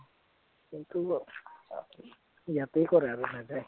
সেইটো ন, ইয়াতেই কৰে আৰু নাযায়